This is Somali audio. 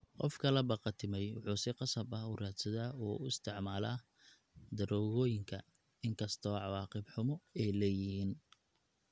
Qofka la qabatimay wuxuu si qasab ah u raadsadaa oo u isticmaala daroogooyinka, inkastoo cawaaqib xumo ay leeyihiin.